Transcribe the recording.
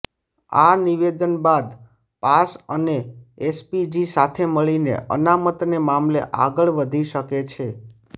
અા નિવેદન બાદ પાસ અને અેસપીજી સાથે મળીને અનામતને મામલે અાગળ વધી શકે છે